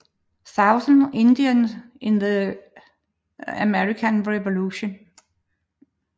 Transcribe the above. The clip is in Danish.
Southern Indians in the American Revolution